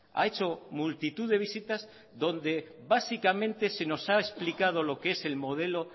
ha hecho multitud de visitas donde básicamente se nos ha explicado lo que es el modelo